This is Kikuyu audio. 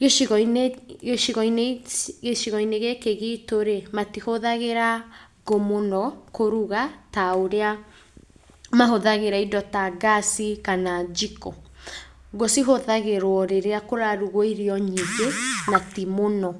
gĩcigo-inĩ gĩcigo-inĩ gĩcigo-inĩ gĩkĩ gitũ rĩ, matihũthagĩra ngũ mũno kũruga ta ũrĩa mahũthagĩra indo ta ngaci kana njiko. Ngũ cihũthagĩrwo rĩrĩa kũrarugwo irio nyingĩ na ti mũno.